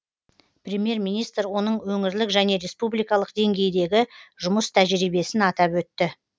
премьер министр оның өңірлік және республикалық деңгейдегі жұмыс тәжірибесін атап өтті